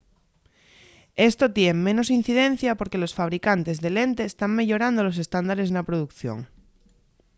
esto tien menos incidencia porque los fabricantes de lentes tán meyorando los estándares na producción